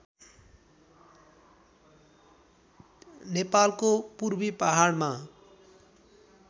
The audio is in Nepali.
नेपालको पूर्वी पहाडमा